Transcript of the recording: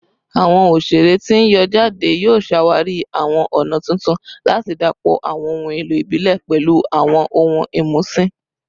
Awọn oṣere ti n yọ jade yoo ṣawari awọn ọna tuntun lati dapọ awọn ohun elo ibile pẹlu awọn ohun imusin